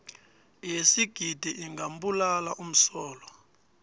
yesigidi ingambulala umsolwa